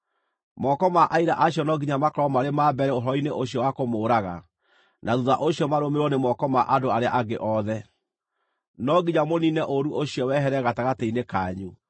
Moko ma aira acio no nginya makorwo marĩ ma mbere ũhoro-inĩ ũcio wa kũmũũraga, na thuutha ũcio marũmĩrĩrwo nĩ moko ma andũ arĩa angĩ othe. No nginya mũniine ũũru ũcio wehere gatagatĩ-inĩ kanyu.